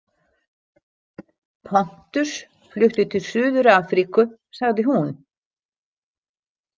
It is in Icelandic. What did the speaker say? Pontus flutti til Suður- Afríku, sagði hún.